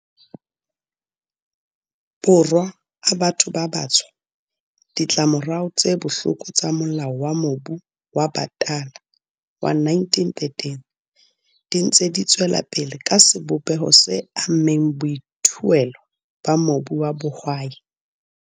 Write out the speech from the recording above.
Borwa a batho ba batsho, ditlamorao tse bohloko tsa Molao wa Mobu wa Batala wa 1913 di ntse di tswelapele ka sebopeho se ammeng boithuelo ba mobu wa bohwai.